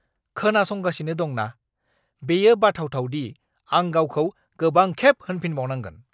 खोनासंगासिनो दं ना? बेयो बाथाव-थाव दि आं गावखौ गोबांखेब होनफिनबावनांगोन!